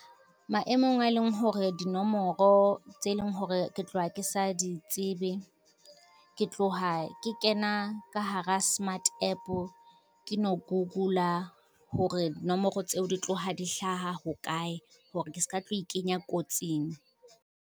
Maemong a leng hore dinomoro tse leng hore ke tloha ke sa di tsebe, ke tloha ke kena ka hara smart app ke no Google-a hore nomoro tseo di tloha di hlaha ho kae hore ke ska tlo ikenya kotsing.